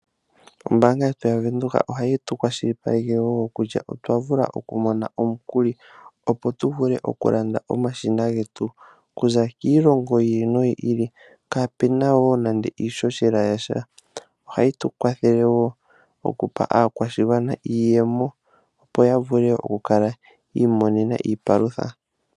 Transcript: Ombaanga yetu yaVenduka ohayi tu kwashilipaleke woo kutya otwavula okumona omukuli opo tuvule okulanda omashina getu okuza kiilongo yi ili noyi ili kaapena nande iishoshela yasha. Ohayi tu kwathele woo okupa aakwashigwana iiyemo opo yavule okukala yamona iipalutha.